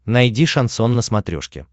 найди шансон на смотрешке